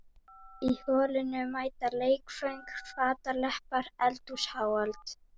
Í holinu mætast leikföng fataleppar eldhúsáhöld.